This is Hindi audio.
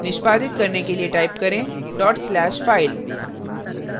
निष्पादित करने के लिए टाइप करें dot slashfile /file